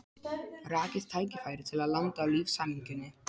Rakið tækifæri til að landa lífshamingjunni.